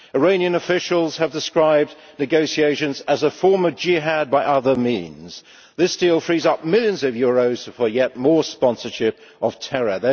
Iranian officials have described negotiations as a form of Jihad by other means. This deal frees up millions of euros for yet more sponsorship of terror.